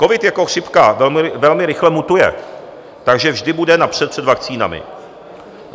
Covid jako chřipka velmi rychle mutuje, takže vždy bude napřed před vakcínami.